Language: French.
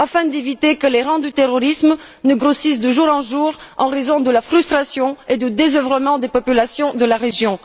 Il s'agit d'éviter que les rangs du terrorisme ne grossissent de jour en jour en raison de la frustration et du désœuvrement des populations de la région.